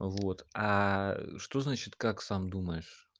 вот аа что значит как сам думаешь